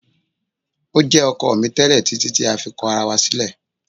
O jẹ ọkọ mi tẹlẹ titi ti a fi kọ ara wa silẹ